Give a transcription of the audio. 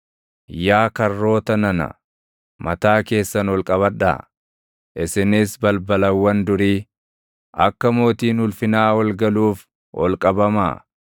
Yaa karroota nana, mataa keessan ol qabadhaa; isinis balbalawwan durii, akka mootiin ulfinaa ol galuuf ol qabamaa.